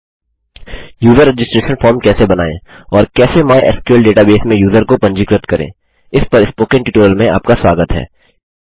user registration पंजीकरण form कैसे बनाएँ और कैसे माइस्क्ल डेटाबेस में यूज़र को पंजीकृत करें इस पर स्पोकन ट्यूटोरियल में आपका स्वागत है